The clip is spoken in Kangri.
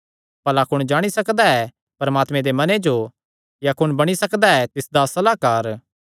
भला कुण जाणी सकदा ऐ परमात्मे दे मने जो या कुण बणी सकदा ऐ तिसदा सलाहकार